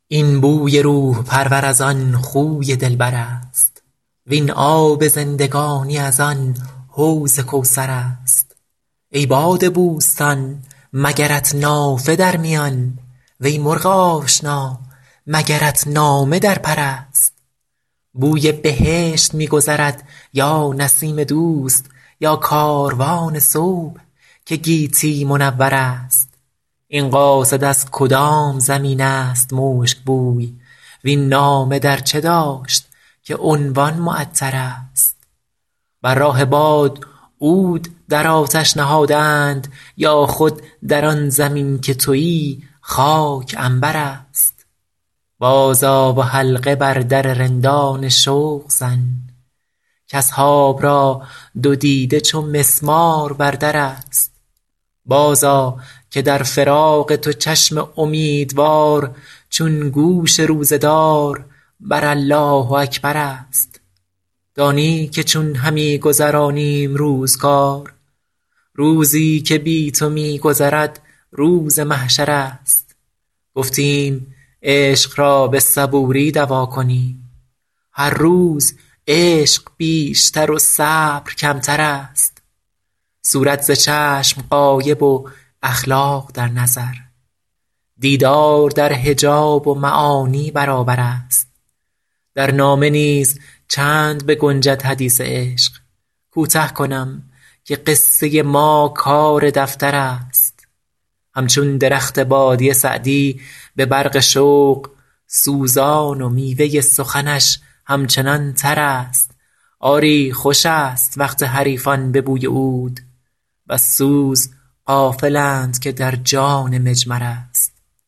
این بوی روح پرور از آن خوی دلبر است وین آب زندگانی از آن حوض کوثر است ای باد بوستان مگرت نافه در میان وی مرغ آشنا مگرت نامه در پر است بوی بهشت می گذرد یا نسیم دوست یا کاروان صبح که گیتی منور است این قاصد از کدام زمین است مشک بوی وین نامه در چه داشت که عنوان معطرست بر راه باد عود در آتش نهاده اند یا خود در آن زمین که تویی خاک عنبر است بازآ و حلقه بر در رندان شوق زن کاصحاب را دو دیده چو مسمار بر در است بازآ که در فراق تو چشم امیدوار چون گوش روزه دار بر الله اکبر است دانی که چون همی گذرانیم روزگار روزی که بی تو می گذرد روز محشر است گفتیم عشق را به صبوری دوا کنیم هر روز عشق بیشتر و صبر کمتر است صورت ز چشم غایب و اخلاق در نظر دیدار در حجاب و معانی برابر است در نامه نیز چند بگنجد حدیث عشق کوته کنم که قصه ما کار دفتر است همچون درخت بادیه سعدی به برق شوق سوزان و میوه سخنش همچنان تر است آری خوش است وقت حریفان به بوی عود وز سوز غافلند که در جان مجمر است